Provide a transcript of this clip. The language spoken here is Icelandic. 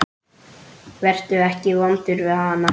Vertu ekki vondur við hana.